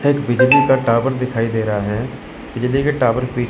एक बिजली का टावर दिखाई दे रहा है बिजली के टावर पे--